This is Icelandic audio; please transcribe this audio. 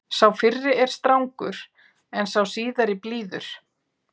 Sá fyrri er strangur en sá síðari blíður.